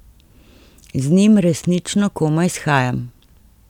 Z njim resnično komaj shajam.